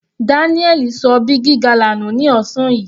Daniel ṣọ big gala nù ní ọ̀sán yìí.